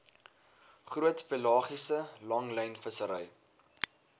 groot pelagiese langlynvissery